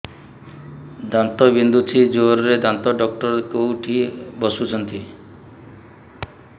ଦାନ୍ତ ବିନ୍ଧୁଛି ଜୋରରେ ଦାନ୍ତ ଡକ୍ଟର କୋଉଠି ବସୁଛନ୍ତି